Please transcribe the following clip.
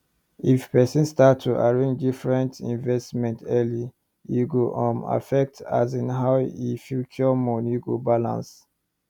if person start to arrange different investment early e go um affect asin how e future money go balance